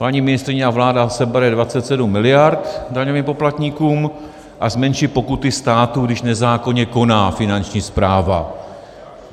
Paní ministryně a vláda sebere 27 miliard daňovým poplatníkům a zmenší pokuty státu, když nezákonně koná Finanční správa.